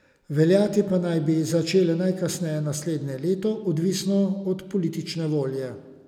Veljati pa naj bi začele najkasneje naslednje leto, odvisno od politične volje.